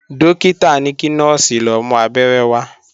Dókítà ní kí Nọ́ọ̀sì lọ mú Abẹ́rẹ́ wá